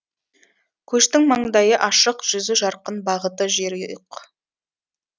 көштің маңдайы ашық жүзі жарқын бағыты жерұйық